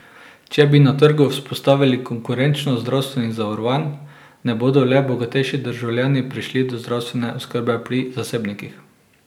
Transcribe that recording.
Če bi na trgu vzpostavili konkurenčnost zdravstvenih zavarovanj, ne bodo le bogatejši državljani prišli do zdravstvene oskrbe pri zasebnikih.